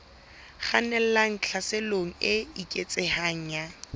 kgannelang tlhaselong e eketsehang ya